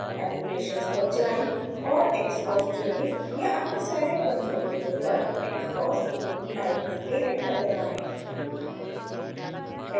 applications पर जाएँ और xcos चुनें या अपने साईलैब कंसोल विंडो पर xcos टाइप करके एंटर दबाएँ